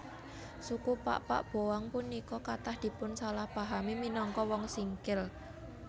Suku Pakpak Boang punika kathah dipunsalahpahami minangka Wong Singkil